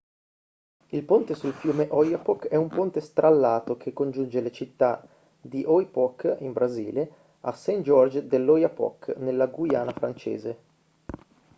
il ponte sul fiume oyapock è un ponte strallato che congiunge la città di oiapoque in brasile a saint-georges de l'oyapock nella guyana francese